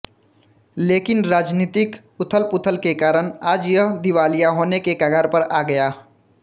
लेकिन राजनीतिक उथलपुथल के कारण आज यह दिवालिया होने के कगार पर आ गया